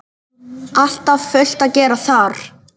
Alltaf fullt að gera þar!